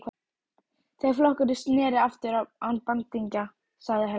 Þegar flokkurinn sneri aftur án bandingja, sagði Helga.